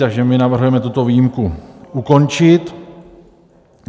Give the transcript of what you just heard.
Takže my navrhujeme tuto výjimku ukončit.